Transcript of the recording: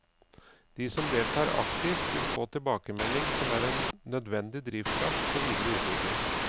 De som deltar aktivt vil få tilbakemelding som er en nødvendig drivkraft for videre utvikling.